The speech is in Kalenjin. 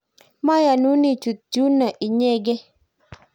mayonun ichut yuno inyegei